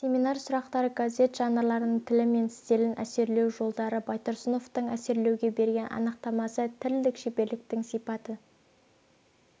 семинар сұрақтары газет жанрларының тілі мен стилін әсерлеу жолдары байтұрсыновтың әсерлеуге берген анықтамасы тілдік шеберліктің сипатын